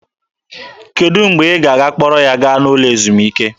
Kedụ mgbe ị ga-akpọrọ ya gaa n'ụlọ ezumike?